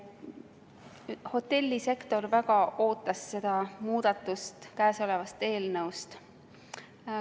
Hotellisektor väga ootas seda muudatust käesoleva eelnõuga.